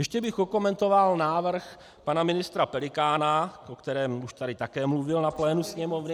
Ještě bych okomentoval návrh pana ministra Pelikána, o kterém už tady také mluvil na plénu Sněmovny.